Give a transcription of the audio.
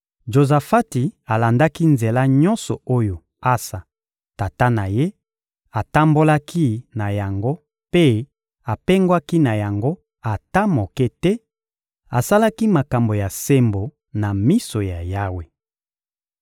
Jozafati alandaki nzela nyonso oyo Asa, tata na ye, atambolaki na yango mpe apengwaki na yango ata moke te; asalaki makambo ya sembo na miso ya Yawe.